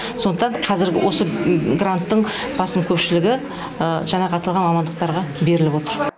сондықтан қазіргі осы гранттың басым көпшілігі жаңағы аталған мамандықтарға беріліп отыр